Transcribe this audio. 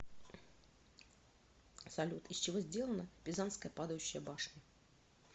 салют из чего сделано пизанская падающая башня